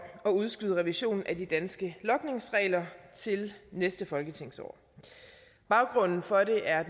at udskyde revisionen af de danske logningsregler til næste folketingsår baggrunden for det er